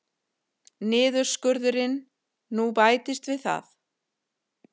Niðurskurðurinn nú bætist við það